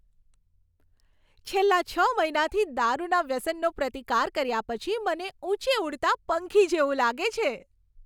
છેલ્લા છ મહિનાથી દારૂના વ્યસનનો પ્રતિકાર કર્યા પછી મને ઊંચે ઉડતા પંખી જેવું લાગે છે.